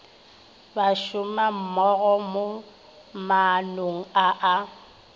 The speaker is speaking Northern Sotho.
bašomammogo mo maanong a a